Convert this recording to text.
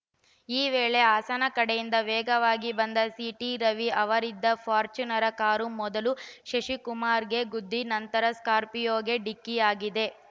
ಈ ವೇಳೆ ಹಾಸನ ಕಡೆಯಿಂದ ವೇಗವಾಗಿ ಬಂದ ಸಿಟಿರವಿ ಅವರಿದ್ದ ಫಾರ್ಚುನರ್‌ ಕಾರು ಮೊದಲು ಶಶಿಕುಮಾರ್‌ಗೆ ಗುದ್ದಿ ನಂತರ ಸ್ಕಾರ್ಪಿಯೋಗೆ ಡಿಕ್ಕಿಯಾಗಿದೆ